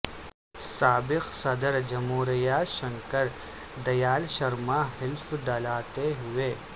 سابق صدر جمہوریہ شنکر دیال شرما حلف دلاتے ہوئے